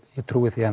trúi því